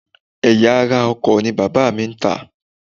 Ẹ̀yà ara ọkọ̀ ni bàbá ń tà